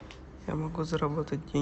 я могу заработать